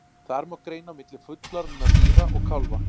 Þar má greina á milli fullorðinna dýra og kálfa.